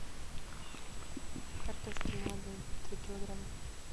картошки молодой три килограмма